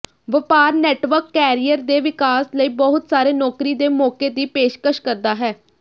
ਵਪਾਰ network career ਦੇ ਵਿਕਾਸ ਲਈ ਬਹੁਤ ਸਾਰੇ ਨੌਕਰੀ ਦੇ ਮੌਕੇ ਦੀ ਪੇਸ਼ਕਸ਼ ਕਰਦਾ ਹੈ